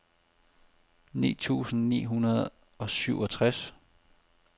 ni tusind ni hundrede og syvogtres